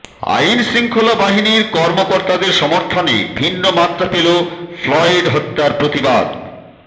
আইনশৃঙ্খলা বাহিনীর কর্মকর্তাদের সমর্থনে ভিন্ন মাত্রা পেল ফ্লয়েড হত্যার প্রতিবাদ